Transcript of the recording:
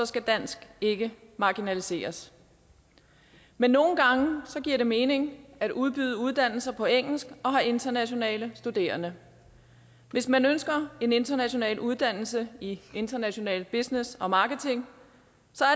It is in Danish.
skal dansk ikke marginaliseres men nogle gange giver det mening at udbyde uddannelser på engelsk og have internationale studerende hvis man ønsker en international uddannelse i international business og marketing